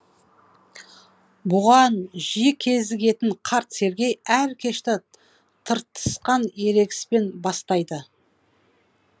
бұған жиі кезігетін қарт сергей әр кешті тыртысқан ерегіспен бастайды